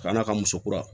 Ka n'a ka muso kura